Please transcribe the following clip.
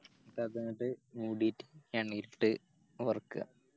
അപ്പൊ അതങ്ങട്ട് മൂഡിറ്റ്‌ എണ്ണെലിട്ട് വറുക്കാ